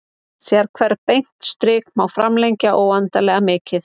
Sérhvert beint strik má framlengja óendanlega mikið.